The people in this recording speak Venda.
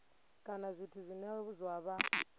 kana zwithu zwine zwa vha